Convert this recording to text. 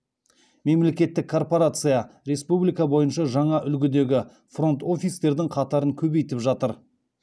мемлекеттік корпорация республика бойынша жаңа үлгідегі фронт офистердің қатарын көбейтіп жатыр